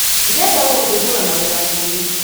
Ndirenda gũgũthumbũra na wĩra mũingĩ.